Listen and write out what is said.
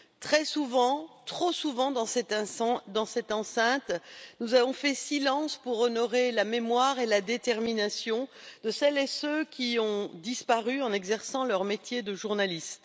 Très souvent, trop souvent, dans cette enceinte, nous avons fait silence pour honorer la mémoire et la détermination de celles et ceux qui ont disparu en exerçant leur métier de journaliste.